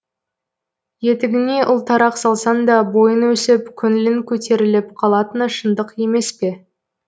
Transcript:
етігіңе ұлтарақ салсаң да бойың өсіп көңілің көтеріліп қалатыны шындық емес пе